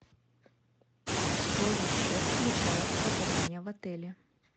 что еще включает проживание в отеле